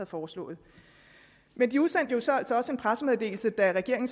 foreslået men de udsendte så altså også en pressemeddelelse da regeringen